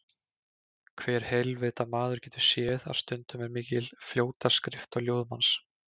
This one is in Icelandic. Hver heilvita maður getur séð að stundum er mikil fljótaskrift á ljóðum hans.